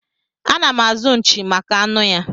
Anam azụ nchi maka anụ ya.